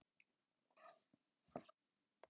Hvað getið þið sagt mér um jólasveina?